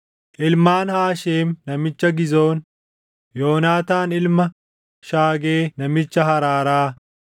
ilmaan Haasheem namicha Gizoon, Yoonaataan ilma Shaagee namicha Haraaraa,